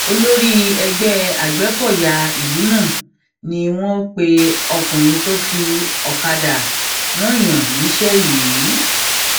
olórí ẹgbẹ agbẹkọyà ìlú náà ni wọn pe ọkùnrin tó fi ọkadà rananyàn níṣẹ yìí